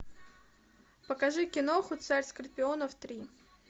покажи киноху царь скорпионов три